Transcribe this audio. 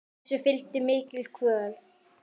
Þessu fylgdi mikil kvöl.